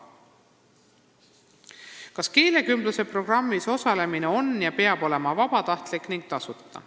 "Kas keelekümbluse programmis osalemine on ja peab olema vabatahtlik ning tasuta?